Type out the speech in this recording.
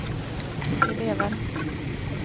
elever